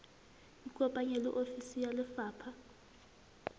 ikopanye le ofisi ya lefapha